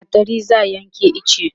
da gattari za'a Yanke iche